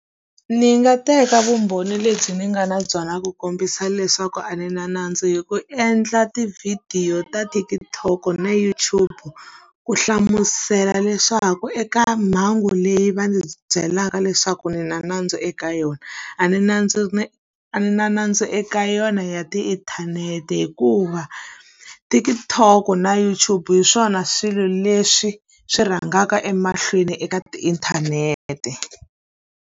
Ni nga teka vumbhoni lebyi ni nga na byona ku kombisa leswaku a ni na nandzu hi ku endla tivhidiyo ta TikTok-o na YouTube. Ku hlamusela leswaku eka mhangu leyi va ndzi byelaka leswaku ni na nandzu eka yona, a ni a ni na nandzu eka yona ya tiinthanete. hikuva TikTok-o na YouTube hi swona swilo leswi swi rhangaka emahlweni eka tiinthanete.